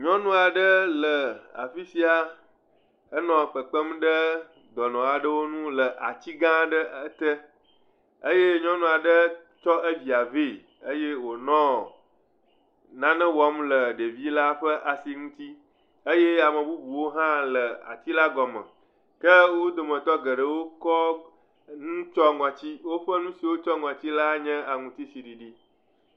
Nyɔnu aɖe le afisia, enɔ kpekpem ɖe dɔnɔ aɖewo ŋu le ati gã aɖe te eye nyɔnua ɖe kɔ evia ve eye wonɔ nane wɔm le ɖevi la ƒe asi ŋuti eye ame bubuwo hã le ati la gɔme. Ke wò dometɔ geɖewo tsɔ nu kɔ tsyɔ ŋɔti. Nusi wokɔ tsyɔ ŋɔti la nye aŋutiɖiɖi.